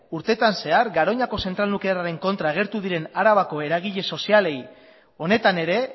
urtetan zehar garoñako zentral nuklearraren kontra agertu diren arabako eragile sozialei honetan ere